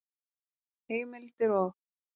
Heimildir og